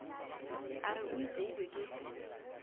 a re o iteilwe ke